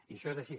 i això és així